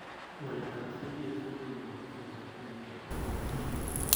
Waletab CTSA ko imi boisietab kila nebo Cathepsin A .